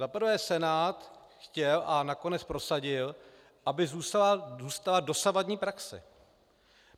Za prvé Senát chtěl a nakonec prosadil, aby zůstala dosavadní praxe.